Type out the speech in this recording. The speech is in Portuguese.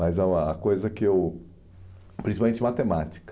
Mas uma a coisa que eu... principalmente matemática.